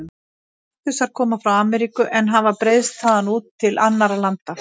Kaktusar koma frá Ameríku en hafa breiðst þaðan út til annarra landa.